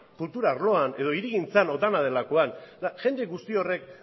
kultura arloan edo hirigintzan edo dena delakoan jende guzti horrek